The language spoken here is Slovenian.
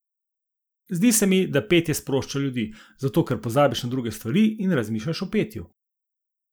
Zdi se mi, da petje sprošča ljudi, zato, ker pozabiš na druge stvari in razmišljaš o petju.